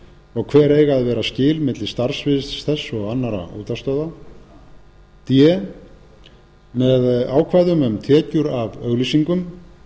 og hver eiga að vera skil milli starfssviðs þess og annarra útvarpsstöðva d með ákvæðum um tekjur af auglýsingum